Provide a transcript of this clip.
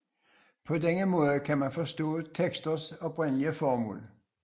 På denne måde kan man forstå teksters oprindelige formål